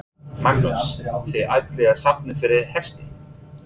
Magnús: Þið ætlið að safna fyrir hesti?